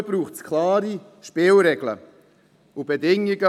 Dafür braucht es klare Spielregeln und auch gleich noch Bedingungen.